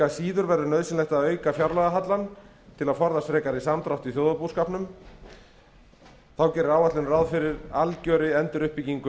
síður verður nauðsynlegt að auka fjárlagahallann til að forðast frekari samdrátt í þjóðarbúskapnum þá gerir áætlunin ráð fyrir algjörri enduruppbyggingu